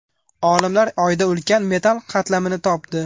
Olimlar Oyda ulkan metall qatlamni topdi.